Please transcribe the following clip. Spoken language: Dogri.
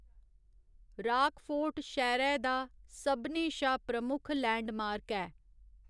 राकफोर्ट शैह्‌रै दा सभनें शा प्रमुख लैंडमार्क ऐ।